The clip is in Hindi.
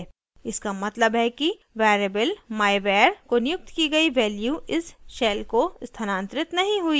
इसका मतलब है कि variable myvar को नियुक्त की गयी value इस shell को स्थानांतरित नहीं हुई थी